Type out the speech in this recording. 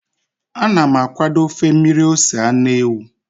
Ana m akwado ofe mmiri ose anụ ewu.